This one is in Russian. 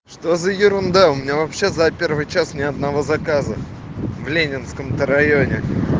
что за ерунда у меня вообще за первый час ни одного заказа в ленинском то районе